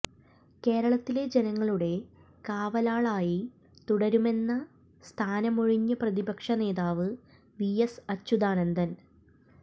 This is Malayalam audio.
കേരളത്തിലെ ജനങ്ങളുടെ കാവലാളായി തുടരുമെന്ന് സ്ഥാനമൊഴിഞ്ഞ പ്രതിപക്ഷനേതാവ് വി എസ് അച്യുതാനന്ദന്